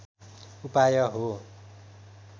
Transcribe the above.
उपाय हो